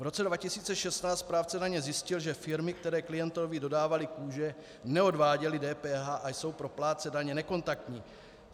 V roce 2016 správce daně zjistil, že firmy, které klientovi dodávaly kůže, neodváděly DPH a jsou pro plátce daně nekontaktní.